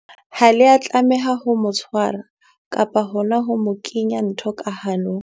Ha le a tlameha ho mo tshwara kapa hona ho mo kenya ntho ka hanong.